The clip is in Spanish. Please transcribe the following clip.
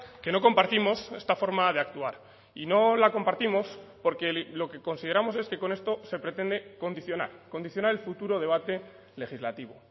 que no compartimos esta forma de actuar y no la compartimos porque lo que consideramos es que con esto se pretende condicionar condicionar el futuro debate legislativo